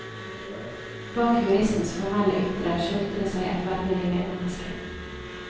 Bak juristens formelle ytre skjulte det seg et velvillig medmenneske.